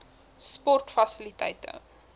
sportfasiliteite